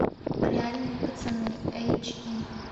реальные пацаны эйч ди